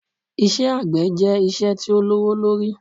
Iṣẹ́ àgbẹ̀ jẹ́ iṣẹ́ tí ó lówó lórí